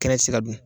Kɛnɛ ti se ka dun